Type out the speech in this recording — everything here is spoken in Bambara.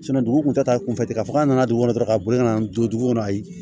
dugu kun ta kunfɛ ten ka fɔ k'a nana dugu kɔnɔ dɔrɔn ka boli ka na n don dugu kɔnɔ ayi